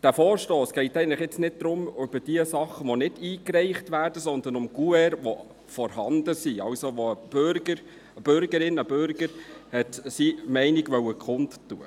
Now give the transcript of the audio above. In diesem Vorstoss geht es eigentlich nicht um jene Sachen, die nicht eingereicht wurden, sondern um vorhandene Kuverts, wenn ein Bürger, eine Bürgerin seine beziehungsweise ihre Meinung kundtun wollte.